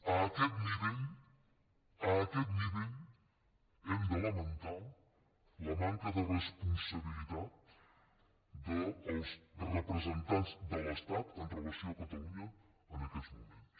a aquest nivell a aquest nivell hem de lamentar la manca de responsabilitat dels representants de l’estat amb relació a catalunya en aquests moments